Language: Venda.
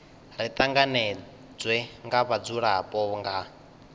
ri tanganedzwe nga vhadzulapo nga